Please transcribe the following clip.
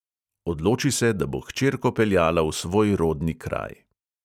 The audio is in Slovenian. Odloči se, da bo hčerko peljala v svoj rodni kraj.